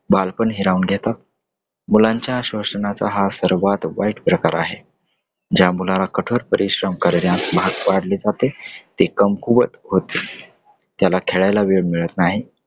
बालपण हिरावून घेता. मुलांच्या शोषणाचा हा सर्वात वाईट प्रकार आहे. ज्या मुलाला कठोर परिश्रम करण्यास भाग पाडले जाते ते, कुमकुवत होत. . त्यांना खेळायला वेळ मिळत नाही.